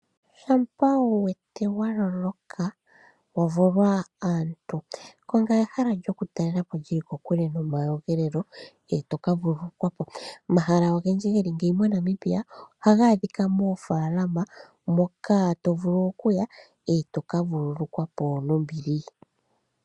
Shampa wu wete wa loloka wa vulwa aantu, konga ehala lyokutalela po lyi li kokule nomayogelelo e to ka vululukwa po. Omahala ogendji ge li ngeyi moNamibia ohaga adhika moofaalama moka to vulu okuya, e to ka vululukwa po nombili.